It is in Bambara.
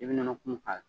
I bɛ nɔnɔ kumu k'a la